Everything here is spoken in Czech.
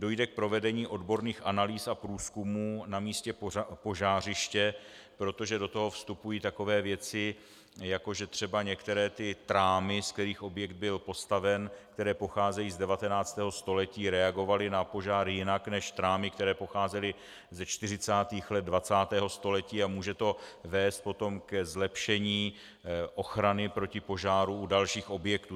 Dojde k provedení odborných analýz a průzkumů na místě požářiště, protože do toho vstupují takové věci, jako že třeba některé ty trámy, z kterých objekt byl postaven, které pocházejí z 19. století, reagovaly na požár jinak než trámy, které pocházejí ze 40. let 20. století, a může to vést potom ke zlepšení ochrany proti požáru u dalších objektů.